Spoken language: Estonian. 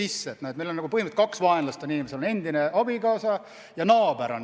Meie inimestel on põhimõtteliselt nagu kaks vaenlast: endine abikaasa ja naaber.